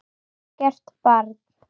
Algert barn.